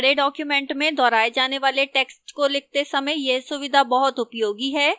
बड़े documents में दोहराए जाने वाले text को लिखते समय यह सुविधा बहुत उपयोगी है